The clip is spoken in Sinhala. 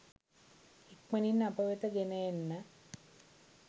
ඉක්මනින් අප වෙත ගෙන එන්න